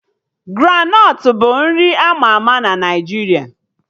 Granọt bụ nri ama ama na Naijiria